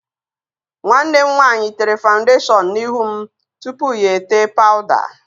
Nwanne m nwaanyị tere fawụndashọn n'ihu m tupu ya etee pawụda.